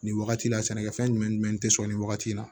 Nin wagati la sɛnɛkɛfɛn jumɛn tɛ sɔrɔ nin wagati in na